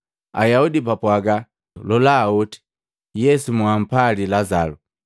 Ayaudi bapwaaga, “Lola oti Yesu moampali Lazalu!”